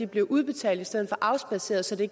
bliver udbetalt i stedet for afspadseret så det